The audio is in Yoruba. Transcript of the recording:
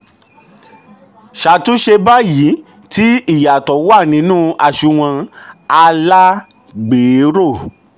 ṣàtúnṣe báyìí tí ìyàtọ̀ wà nínú àṣùnwọ̀n alágbèéró.